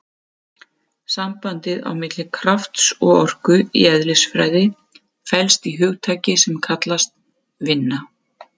Sambandið á milli krafts og orku í eðlisfræði felst í hugtaki sem kallast vinna.